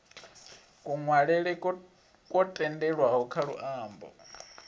kunwalele kwo tendelwaho kha luambo